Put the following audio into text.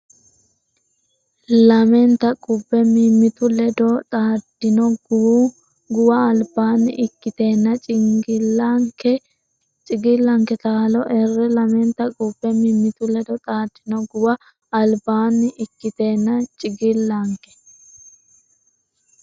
Lamenta qubbe mimmitu ledo xaaddino guwa albaanni ikkiteenna cigillanke taalo erre Lamenta qubbe mimmitu ledo xaaddino guwa albaanni ikkiteenna cigillanke.